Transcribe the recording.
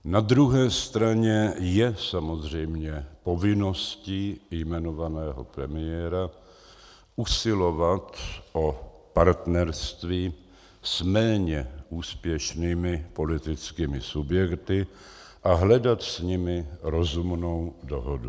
Na druhé straně je samozřejmě povinností jmenovaného premiéra usilovat o partnerství s méně úspěšnými politickými subjekty a hledat s nimi rozumnou dohodu.